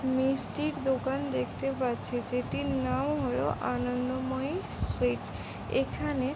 মিষ্টির দোকান দেখতে পাচ্ছি যেটির নাম হলো আনন্দময়ী সুইটস এখানে ।